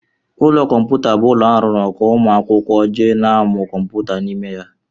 Ụlọ kọmputa bụ ụlọ arụrụ ka ụmụ akwụkwọ jee n'amụ kọmputa n'ime ya.